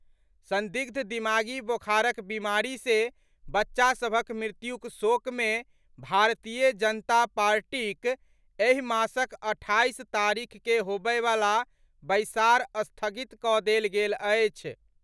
संदिग्ध दिमागी बोखारक बीमारी से बच्चा सभक मृत्युक शोक मे भारतीय जनता पार्टीक एहि मासक अठाईस तारीख के होबयवला बैसार स्थगित कऽ देल गेल अछि।